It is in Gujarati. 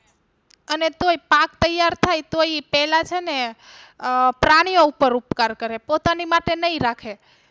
અને તોય પાક તૈયાર થાય તોય ઈ પહેલા છે ને અ પ્રાણી ઓ ઉપર ઉપકાર કરે પોતાની માટે નઈ રાખે.